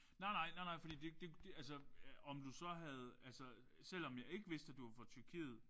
Nej nej nej nej fordi det det altså om du så havde altså selvom at jeg ikke vidste at du var fra Tyrkiet